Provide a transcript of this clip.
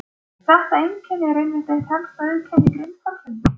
Þetta einkenni er einmitt eitt helsta auðkenni grindhvalsins.